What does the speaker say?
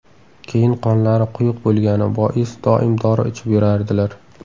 Keyin qonlari quyuq bo‘lgani bois doim dori ichib yurardilar.